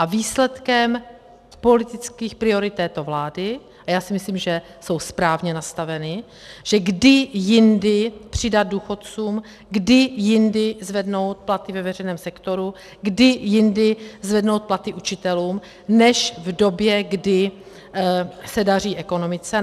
A výsledkem politických priorit této vlády - a já si myslím, že jsou správně nastaveny, že kdy jindy přidat důchodcům, kdy jindy zvednout platy ve veřejném sektoru, kdy jindy zvednout platy učitelům než v době, kdy se daří ekonomice.